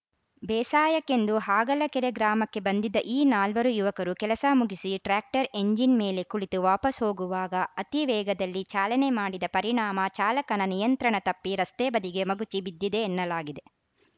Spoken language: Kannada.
ಬೇಸಾಯಕ್ಕೆಂದು ಹಾಗಲಕೆರೆ ಗ್ರಾಮಕ್ಕೆ ಬಂದಿದ್ದ ಈ ನಾಲ್ವರು ಯುವಕರು ಕೆಲಸ ಮುಗಿಸಿ ಟ್ರ್ಯಾಕ್ಟರ್‌ ಎಂಜಿನ್‌ ಮೇಲೆ ಕುಳಿತು ವಾಪಸ್‌ ಹೋಗುವಾಗ ಅತಿ ವೇಗದಲ್ಲಿ ಚಾಲನೆ ಮಾಡಿದ ಪರಿಣಾಮ ಚಾಲಕನ ನಿಯಂತ್ರಣ ತಪ್ಪಿ ರಸ್ತೆ ಬದಿಗೆ ಮಗುಚಿ ಬಿದ್ದಿದೆ ಎನ್ನಲಾಗಿದೆ